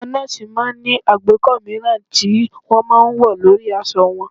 Àwọn nọ́ọ̀sì máa ń ní àgbékọ́ mìíràn tí wọ́n máa ń wọ̀ lórí aṣọ wọn